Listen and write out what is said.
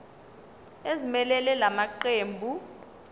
ezimelele la maqembu